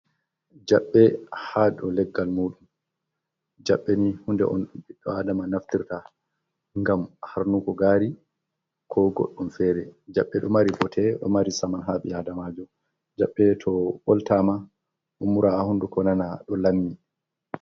Jaɓɓe ha dou leggal muɗum, Jabbeni hunde on ɓiɗdo adama naftirta ngam harnuko gari ko goɗɗum fere jaɓɓe ɗo mari bote ɗo mari saman haɓi adamajo, Jabbe to ɓoltama umura ha hunduko nana ɗo lammi.